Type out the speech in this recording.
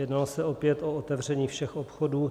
Jednalo se opět o otevření všech obchodů.